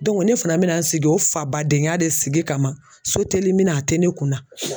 ne fana bɛna n sidi o fabadenya de sigi kama sotelimina a te ne kun na.